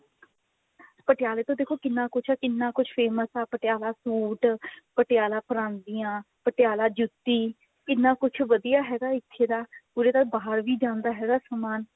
ਪਟਿਆਲੇ ਤੋਂ ਦੇਖੋ ਕਿੰਨਾ ਕੁੱਛ ਕਿੰਨਾ ਕੁੱਛ famous ਹੈ ਪਟਿਆਲਾ suit ਪਟਿਆਲਾ ਪ੍ਰਾਂਦੀਆਂ ਪਟਿਆਲਾ ਜੁੱਤੀ ਕਿੰਨਾ ਕੁੱਛ ਵਧੀਆ ਹੈਗਾ ਇੱਥੇ ਦਾ ਉਰੇ ਤਾਂ ਬਾਹਰ ਵੀ ਜਾਂਦਾ ਹੈ ਸਮਾਨ